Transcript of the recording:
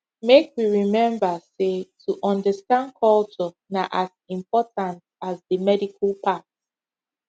make we remember say to understand culture na as important as the medical part